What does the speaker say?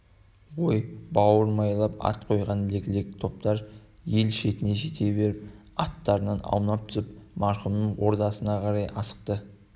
ой бауырымайлап ат қойған лек-лек топтар ел шетіне жете беріп аттарынан аунап түсіп марқұмның ордасына қарай асықты